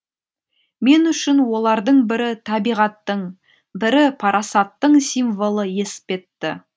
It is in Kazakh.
мен үшін олардың бірі табиғаттың бірі парасаттың символы еспетті